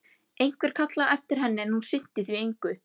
Einhver kallaði á eftir henni, en hún sinnti því engu.